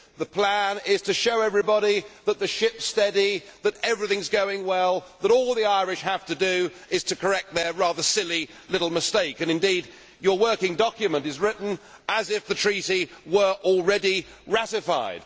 The plan is to show everybody that the ship is steady, that everything is going well, that all the Irish have to do is to correct their rather silly little mistake and indeed your working document is written as if the Treaty were already ratified.